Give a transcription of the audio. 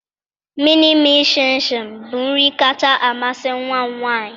Mịnịmịị shịnshịn bụ nri kacha amasị nwa m nwanyị.